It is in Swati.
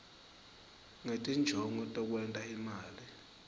ngetinjongo tekwenta imali